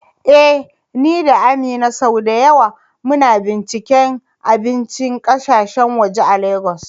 Eh, ni da Amina sau da yawa muna binciken abincin kasashen waje a Legas.